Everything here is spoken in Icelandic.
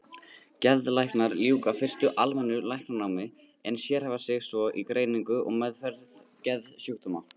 Geðlæknar ljúka fyrst almennu læknanámi en sérhæfa sig svo í greiningu og meðferð geðsjúkdóma.